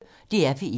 DR P1